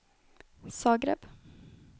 Zagreb